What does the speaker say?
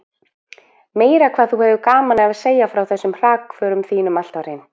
Meira hvað þú hefur gaman af að segja frá þessum hrakförum þínum alltaf hreint!